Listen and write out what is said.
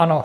Ano.